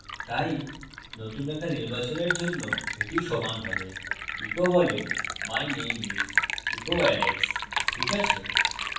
তাই নতুন রেখা নির্বাচনের জন্য এটি সমান হবে echo বলে my name is echo alex ঠিক আছে